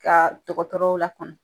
Ka dɔgɔtɔrɔw lakɔnɔ